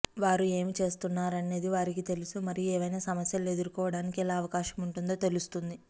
వారు ఏమి చేస్తున్నారనేది వారికి తెలుసు మరియు ఏవైనా సమస్యలు ఎదుర్కోవటానికి ఎలా అవకాశం ఉంటుందో తెలుస్తుంది